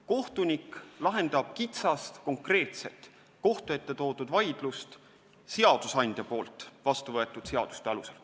Kohtunik lahendab kitsast konkreetset kohtu ette toodud vaidlust seadusandja vastu võetud seaduste alusel.